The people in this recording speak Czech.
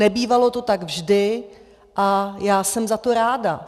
Nebývalo to tak vždy a já jsem za to ráda.